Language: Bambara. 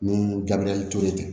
Ni gabiriyɛri ture tɛ